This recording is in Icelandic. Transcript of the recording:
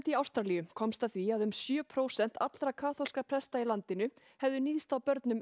í Ástralíu komst að því að um sjö prósent allra kaþólskra presta í landinu hefðu níðst á börnum